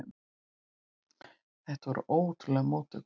Þetta voru ótrúlegar móttökur.